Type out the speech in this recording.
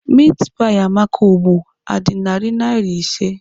Meatpie Amaka ugbu a dị narị naira ise?